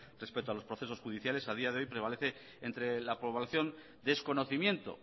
respecto a los procesos judiciales a día de hoy prevalece entre la población desconocimiento